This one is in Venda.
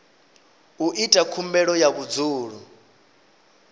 u ita khumbelo ya vhudzulo